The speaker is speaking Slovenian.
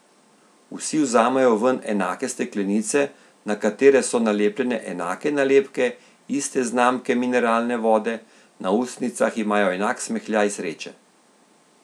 Vsi vzamejo ven enake steklenice, na katere so nalepljene enake nalepke iste znamke mineralne vode, na ustnicah imajo enak smehljaj sreče.